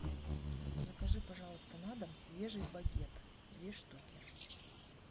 закажи пожалуйста на дом свежий багет две штуки